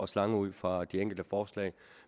slange ud for de enkelte forslag